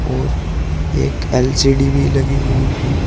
और एक एल_सी_डी भी लगी हुई है।